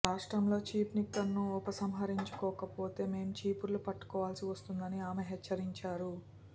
రాష్ట్రంలో చీప్ లిక్కర్ను ఉపసంహరించుకోకపోతే మేం చీపుర్లు పట్టుకోవాల్సి వస్తుందని ఆమె హెచ్చరించారు